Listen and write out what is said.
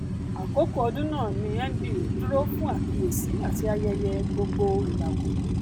àkókò ọdún náà ni nba dúró fún àkíyèsí àti ayẹyẹ gbogboìràwọ